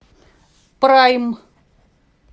прайм